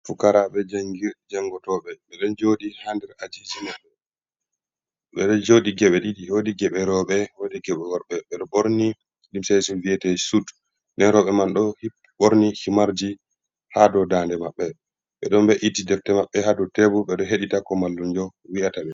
"Pukaraaɓe" jangir jangotoɓe ɓeɗo jooɗi ha nder ajiji maɓɓe ɓeɗo jooɗi geɓe ɗiɗi woodi geɓe rooɓe, woodi geɓe worɓe, ɓeɗo ɓorni limse wi'ete ɗum sut, nda rooɓe man bo ɗo ɓorni himarji ha dou dande maɓɓe ɓe ɗon be’iti defte maɓɓe ha dou tebur ɓeɗo heɗita ko mallumjo wi'ata ɓe.